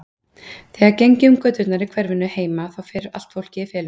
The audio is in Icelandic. Þegar ég geng um göturnar í hverfinu heima þá fer allt fólkið í felur.